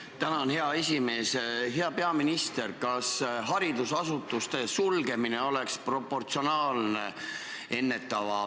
Aga ma tahan siin öelda ka inimestele, kes täna seda ülekannet vaatavad ja kuulavad, et eriolukord ei tähenda ju seda, et Eesti riik toob järgmisel minutil sõjaväe ja suured mehhanismid tänavatele.